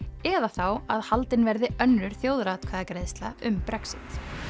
eða þá að haldin verði önnur þjóðaratkvæðagreiðsla um Brexit